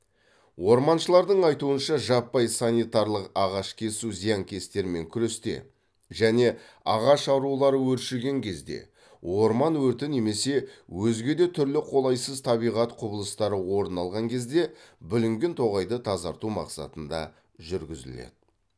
орманшылардың айтуынша жаппай санитарлық ағаш кесу зиянкестермен күресте және ағаш аурулары өршіген кезде орман өрті немесе өзге де түрлі қолайсыз табиғат құбылыстары орын алған кезде бүлінген тоғайды тазарту мақсатында жүргізіледі